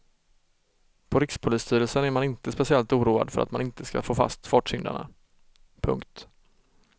På rikspolisstyrelsen är man inte speciellt oroad för att man inte ska få fast fartsyndarna. punkt